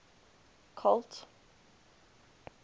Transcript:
colt